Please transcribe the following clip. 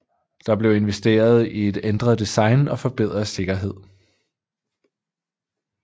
Der blev investeret i et ændret design og forbedret sikkerhed